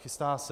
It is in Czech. Chystá se.